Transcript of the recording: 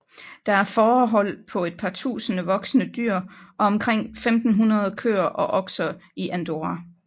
Der er fårehold på et par tusinde voksne dyr og omkring 1500 køer og okser i Andorra